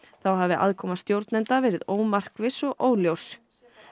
þá hafi aðkoma stjórnenda verið ómarkviss og óljós